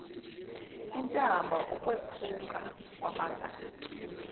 intambo ukwephuka kwamagatsha